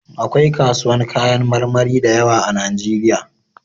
Akwai kasuwan kayan marmari da yawa a najeriya